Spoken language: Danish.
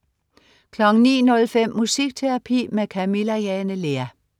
09.05 Musikterapi med Camilla Jane Lea